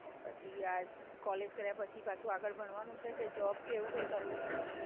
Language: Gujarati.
પછી આ કોલેજ કર્યા પછી પાછું આગળ ભણવાનું છે કે જોબ કે એવું કઈ કરવું છે?